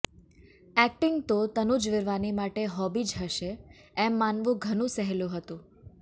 acting તો તનુજ વિરવાની માટે hobby જ હશે એમ માનવું ઘણું સહેલું છે